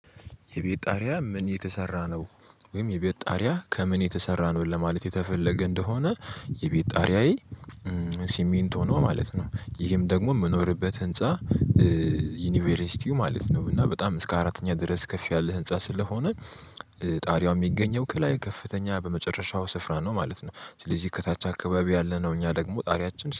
የቤት ጣሪያ ምን የተሰራ ነው? ወይም የቤት ጣሪያ ከምን የተሰራ ነው ለማለት የተፈለገ እንደሆነ? የቤት ጣሪያዬ ሲሜንቶ ነው ማለት ነው። ይህም ደግሞ የምኖርበት ህንፃ። ዩኒቬርስቲው ማለት ነው እና በጣም እስከ አራተኛ ድረስ ከፍ ያለ ህንፃ ስለሆነ ጣሪያው የሚገኘው ከላይ ከፍተኛ በመጨረሻው ስፍራ ነው ማለት ነው። ስለዚህ ከታች አካባቢ ያለነው እኛ ደግሞ ጣሪያችን